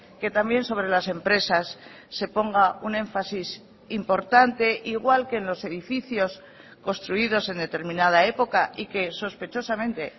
que también sobre las empresas se ponga un énfasis importante igual que en los edificios construidos en determinada época y que sospechosamente